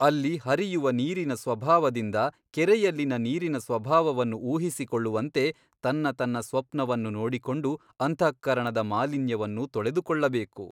ಅಲ್ಲಿ ಹರಿಯುವ ನೀರಿನ ಸ್ವಭಾವದಿಂದ ಕೆರೆಯಲ್ಲಿನ ನೀರಿನ ಸ್ವಭಾವವನ್ನು ಊಹಿಸಿಕೊಳ್ಳುವಂತೆ ತನ್ನ ತನ್ನ ಸ್ವಪ್ನವನ್ನು ನೋಡಿಕೊಂಡು ಅಂತಃಕರಣದ ಮಾಲಿನ್ಯವನ್ನು ತೊಳೆದುಕೊಳ್ಳಬೇಕು.